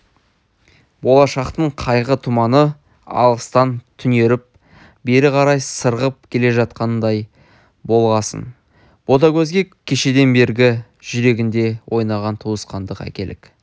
болашақтың қайғы тұманы алыстан түнеріп бері қарай сырғып келе жатқандай болғасын ботагөзге кешеден бергі жүрегінде ойнаған туысқандық әкелік